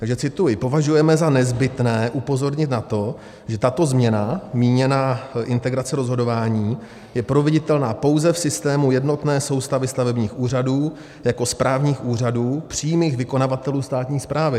Takže cituji: "Považujeme za nezbytné upozornit na to, že tato změna," míněna integrace rozhodování, "je proveditelná pouze v systému jednotné soustavy stavebních úřadů jako správních úřadů, přímých vykonavatelů státní správy.